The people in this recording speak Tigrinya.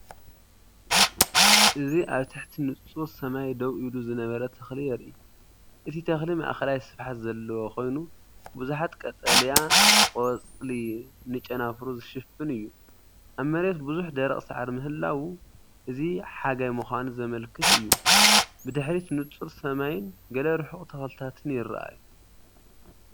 እዚ ኣብ ትሕቲ ንጹር ሰማይ ደው ኢሉ ዝነበረ ተክሊ የርኢ። እቲ ተክሊ ማእከላይ ስፍሓት ዘለዎ ኮይኑ፡ብዙሓት ቀጠልያ ቆጽሊ ንጨናፍሩ ዝሽፍን እዩ። ኣብ መሬት ብዙሕ ደረቕ ሳዕሪ ምህላዉ እዚሓጋይ ምዃኑ ዘመልክት እዩ። ብድሕሪት ንጹር ሰማይን ገለ ርሑቕ ተኽልታትን ይረኣዩ።